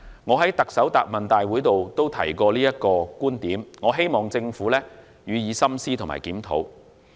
我在行政長官答問會上也曾提出這個觀點，希望政府予以深思和檢討。